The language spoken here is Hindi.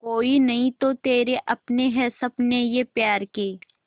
कोई नहीं तो तेरे अपने हैं सपने ये प्यार के